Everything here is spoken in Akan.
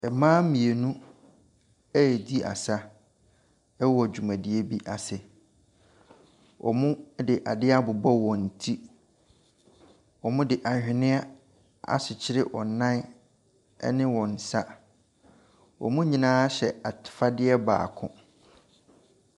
Mmaa mmienu ɛredi asa wɔ dwumadie bi ase. Wɔde ade abobɔ wɔn ti. Wɔde aweneɛ akyekyere wɔn nan ne wɔn nsa. Wɔn nyinaa hyɛ afadeɛ baako.